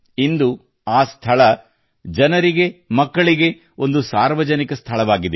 ಇದು ಆ ಸ್ಥಳ ಜನರಿಗೆ ಮಕ್ಕಳಿಗೆ ಒಂದು ಸಾರ್ವಜನಿಕ ಸ್ಥಳವಾಗಿದೆ